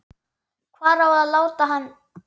Hvar á að láta hann?